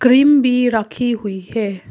Cream भी रखी हुई है।